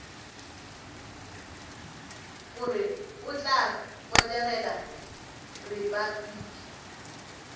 gore o tla botegela repabliki